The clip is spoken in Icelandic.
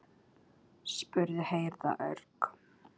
spurði Heiða örg.